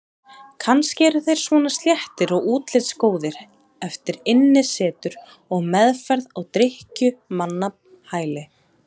Kannski eru þeir svona sléttir og útlitsgóðir eftir innisetur og meðferð á drykkjumannahæli.